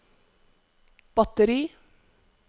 batteri